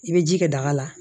I bɛ ji kɛ daga la